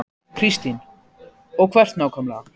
Kristín: Og hvert nákvæmlega?